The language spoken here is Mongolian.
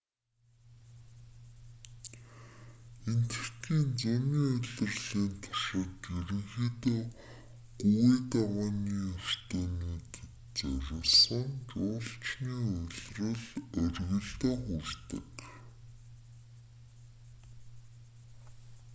энэтхэгийн зуны улирлын туршид ерөнхийдөө гүвээ давааны өртөөнүүдэд зориулсан жуулчны улирал оргилдоо хүрдэг